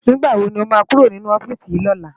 Nigbá wó ló má kúró ninú òfisi lòlá?